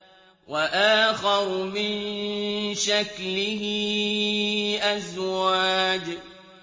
وَآخَرُ مِن شَكْلِهِ أَزْوَاجٌ